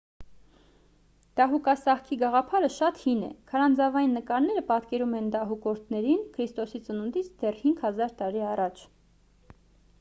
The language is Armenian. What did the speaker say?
դահուկասահքի գաղափարը շատ հին է քարանձավային նկարները պատկերում են դահուկորդներին քրիստոսի ծնունդից դեռ 5 000 տարի առաջ